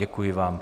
Děkuji vám.